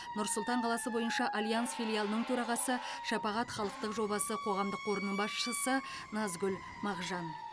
нұр сұлтан қаласы бойынша альянс филиалының төрағасы шапағат халықтық жобасы қоғамдық қорының басшысы назгүл мақжан